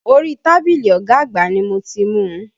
Orí tábìlì ọ̀gá àgbà ni mo ti mu.